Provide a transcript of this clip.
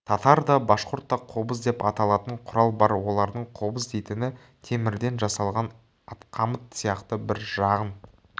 татарда башқұртта қобыз деп аталатын құрал бар олардың қобыз дейтіні темірден жасалған атқамыт сияқты бір жағын